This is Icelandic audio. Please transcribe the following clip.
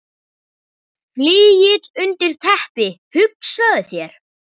Flygill undir teppi, hugsaðu þér!